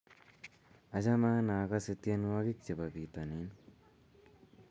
Achame anee akosee tienwokik che bo bitonin.